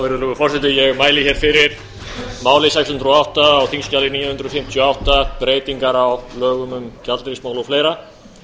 virðulegur forseti ég mæli hér fyrir máli sex hundruð og átta á þingskjali níu hundruð fimmtíu og átta breytingar á lögum um gjaldeyrismál og fleira